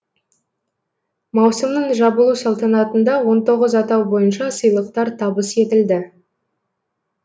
маусымның жабылу салтанатында он тоғыз атау бойынша сыйлықтар табыс етілді